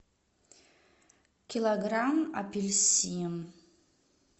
килограмм апельсин